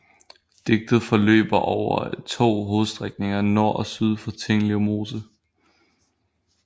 Diget forløber over to hovedstrækninger nord og syd for Tinglev Mose